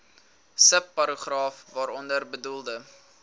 subparagraaf waaronder bedoelde